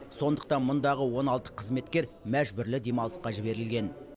сондықтан мұндағы он алты қызметкер мәжбүрлі демалысқа жіберілген